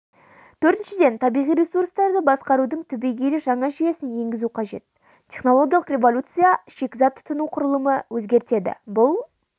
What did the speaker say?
төртіншіден табиғи ресурстарды басқарудың түбегейлі жаңа жүйесін енгізу қажет технологиялық революция шикізат тұтыну құрылымын өзгертеді бұл